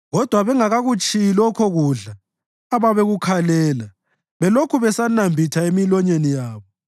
Kodwa bengakakutshiyi lokho kudla ababekukhalela belokhu besakunambitha emilonyeni yabo,